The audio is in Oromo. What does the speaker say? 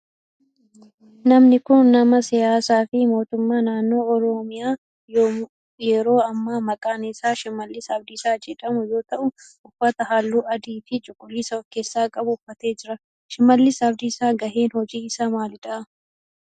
Namni kun nama siyaasaa fi mootummaa naannoo oromiyaa yeroo ammaa maqaan isaa Shimallis Abdiisaa jedhamu yoo ta'u uffata halluu adii fi cuquliisa of keessaa qabu uffatee jira. Shimallis Abdiisaa gaheen hojii isaa maalidha?